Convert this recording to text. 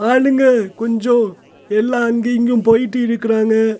ஆளுங்க கொஞ்சோ எல்லா அங்கயு இங்கயு போய்ட்டு இருக்குறாங்க.